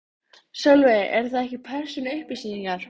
Sólveig: Eru það ekki persónuupplýsingar?